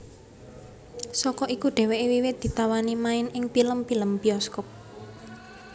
Saka iku dheweke wiwit ditawani main ing pilem pilem biyoskop